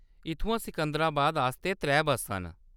इत्थुआं सिकंदराबाद आस्तै त्रै बस्सां न।